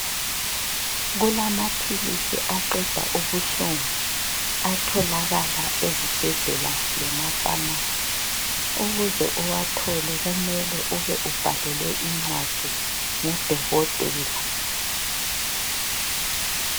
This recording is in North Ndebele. Kulamaphilisi aqeda ubuhlungu, atholakala ezibhedlela lefamasi ukuze uwathole kumele ube ubhalelwe incwadi ngudokotela.